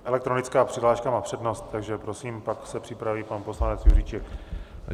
Elektronická přihláška má přednost, takže prosím, pak se připraví pan poslanec Juříček.